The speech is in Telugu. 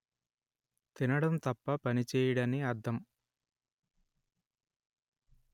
తినడం తప్ప పని చేయడని అర్థం